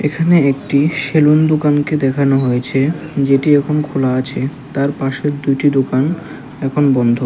এখানে একটি সেলুন দোকানকে দেখানো হয়েছে যেটি এখন খোলা আছে তার পাশের দুইটি দোকান এখন বন্ধ।